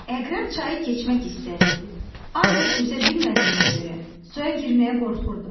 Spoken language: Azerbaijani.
Əqrəb çayı keçmək istəyirdi, ancaq üzə bilmədiyinə görə suya girməyə qorxurdu.